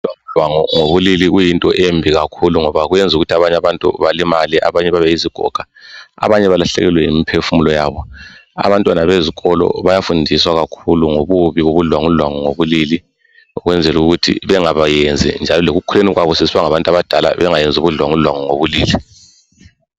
Ubudlwangu dlwangu ngobulili kuyinto embili kakhulu ngoba kwenza ukuthi abanye abantu balimale abanye babe yizigoga abanye abalahlekelwe yimphefumulo yabo abantwana bezikolo bayafundiswa kakhulu ngobubi bobudlwangu dlwangu ngobulili ukwenzela ukuthi bengayenzi njalo lekukhuleni kwabo sebengabantu abadala bengayenzi ubudlwangu dlwangu ngobulili.